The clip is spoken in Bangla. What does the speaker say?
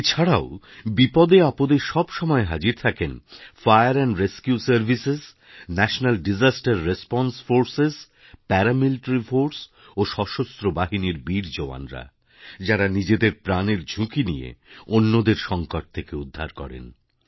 এছাড়াও বিপদে আপদে সব সময় হাজির থাকেন ফায়ারএন্ড রেসকিউ সার্ভিসেস ন্যাশনাল্ডিশাস্তের রেসপন্সে ফোর্সেস প্যারামিলিটারি ফোর্স ও সশস্ত্র বাহিনীর বীর জওয়ানরা যাঁরা নিজেদের প্রাণের ঝুঁকি নিয়ে অন্যদের সঙ্কট থেকে উদ্ধার করেন